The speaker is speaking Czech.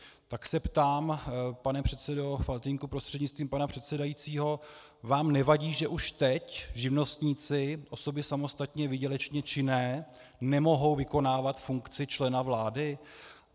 Tak se ptám, pane předsedo Faltýnku prostřednictvím pana předsedajícího: vám nevadí, že už teď živnostníci, osoby samostatně výdělečně činné, nemohou vykonávat funkci člena vlády?